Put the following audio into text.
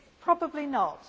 Probably not.